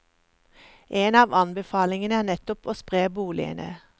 En av anbefalingene er nettopp å spre boligene.